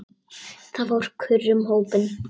Það fór kurr um hópinn.